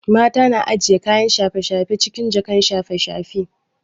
Mata na ajiye kayan shafe shafe cikin jakan shafe shafe